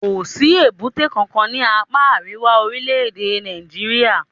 Kò sí èbúté kankan ní apá àríwá orílẹ̀-èdè Nàìjíríà.